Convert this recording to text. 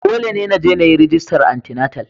Dole ne na je rajista antinatal